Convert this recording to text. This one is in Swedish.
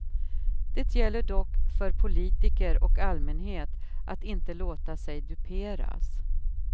Det gäller dock för politiker och allmänhet att inte låta sig duperas.